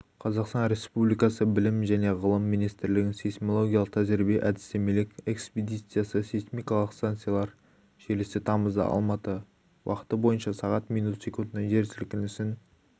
қазақстан республикасы білім және ғылым министрлігінің сейсмологиялық тәжірибе-әдістемелік экспедициясы сейсмикалық станциялар желісі тамызда алматы уақыты бойынша сағат минут секундта жер сілкінісін